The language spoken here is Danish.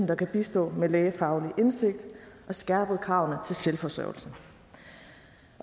der kan bistå med lægefaglig indsigt og skærpet kravene til selvforsørgelse